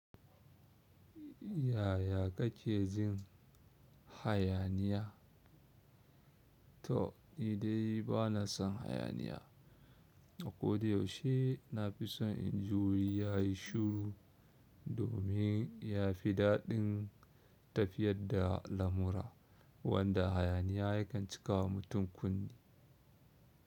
Yaya kake jin hayaniya? To ni dai bana son hayaniya, a koda yaushe na fi son in ji wuri ya yi shuru domin ya fi daɗin tafiyar da lamura wanda hayaniya ya kan cika wa mutum kunne.